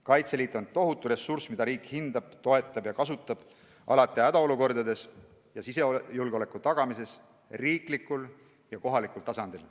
Kaitseliit on tohutu ressurss, mida riik hindab, toetab ja kasutab alati hädaolukordades ning sisejulgeoleku tagamises üleriigilisel ja kohalikul tasandil.